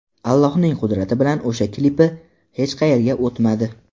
Allohning qudrati bilan o‘sha klipi hech qayerga o‘tmadi.